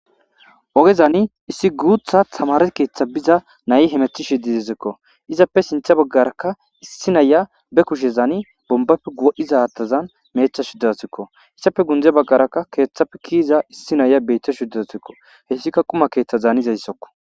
Ogezani issi guutha tamare keeththa biza nayi hemethi shididezikko izappe sintha baggarakka issi naya be kushe zaani bombappe gu'iza atazan meetha shuddasikko issafe gunde baggarakka keeththapfe kiiza issi naya beytta shuddasikko hessika quma keeththa zaanizayssokko.